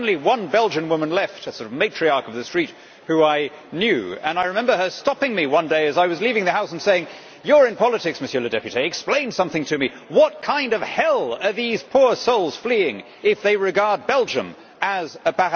There was only one Belgian woman left, a matriarch of the street who I knew, and I remember her stopping me one day as I was leaving the house and saying, You're in politics, explain something to me what kind of hell are these poor souls fleeing from if they regard Belgium as a